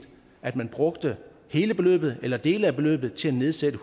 at man brugte hele beløbet eller dele af beløbet til at nedsætte